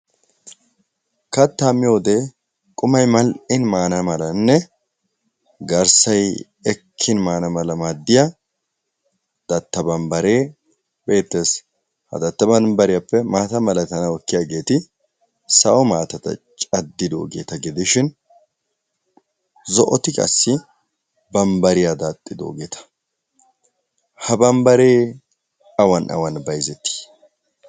kattaa miyoode qumay mal'in maana malanne garssay ekkin maana ala maadiya barbbaree bettes. maata malatiyageeti sawo maatata gidishin zo'oti qassi bambariya daaxidoogeeta. ha babbaree awan awan bayzetii?